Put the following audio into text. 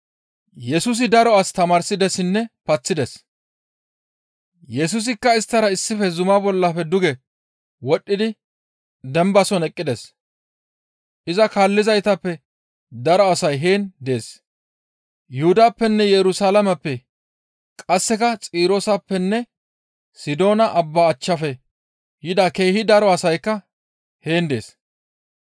Yesusikka isttara issife zumaa bollafe duge wodhdhidi dembason eqqides. Iza kaallizaytappe daro asay heen dees, Yuhudappenne Yerusalaameppe, qasseka Xirooseppenne Sidoona Abba achchafe yida keehi daro asaykka heen dees.